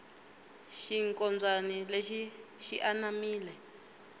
xinkombyani lexi xi anamile